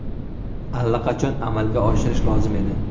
Allaqachon amalga oshirish lozim edi.